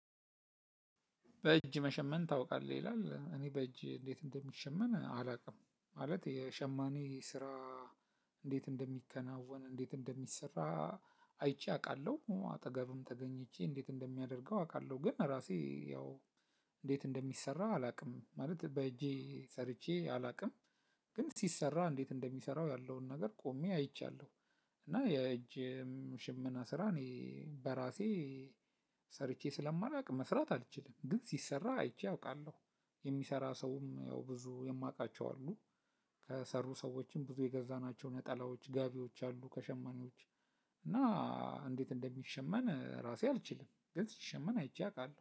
በእጅ መሸመን ታውቃለህ ይላል እኔ በእጅ እንዴት እንደሚሸመን አላውቅም ማለት የሸማኔ ስራ። እንዴት እንደሚከናወን እንዴት እንደሚሰራ። አይቼ አውቃለሁ አጠገብም ተገኝቼ እንዴት እንደሚያደርገው አውቃለሁ። ግን ራሴ ያው እንዴት እንደሚሰራ አላውቅም ማለት በእጄ ሰርቼ አላውቅም። ግን ሲሰራ እንዴት እንደሚሰራው ያለውን ነገር ቆሜ አይቻለሁ። እና የእጅ ሽመና ስራ እኔ በራሴ ሰርቼ ስለማላውቅ መስራት አልችልም። ግን ሲሰራ አይቼ አውቃለሁ። የሚሰራ ሰውም ያው ብዙ የማውቃቸው አሉ። ከሰሩ ሰዎችም ብዙ የገዛናቸው ነጠላዎች ጋቢዎች አሉ ከሸማኔዎች። እና እንዴት እንደሚሸመን ራሴ አልችልም ግን ሲሸመን አይቼ አውቃለሁ